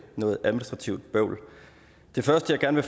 noget administrativt bøvl det første jeg gerne